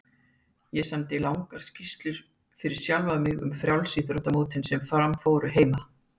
Ég samdi langar skýrslur fyrir sjálfan mig um frjálsíþróttamótin sem fram fóru heima.